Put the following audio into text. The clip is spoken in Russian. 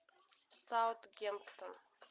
саутгемптон